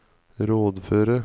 rådføre